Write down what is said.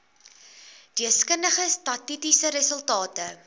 deskundige statistiese resultate